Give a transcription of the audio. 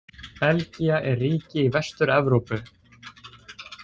Belgía er ríki í Vestur-Evrópu.